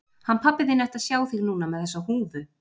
Hann pabbi þinn ætti að sjá þig núna með þessa húfu.